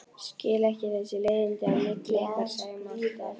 Skil ekki þessi leiðindi á milli ykkar Sæma alltaf.